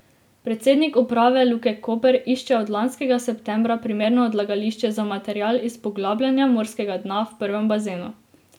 Predsednik uprave Luke Koper išče od lanskega septembra primerno odlagališče za material iz poglabljanja morskega dna v prvem bazenu.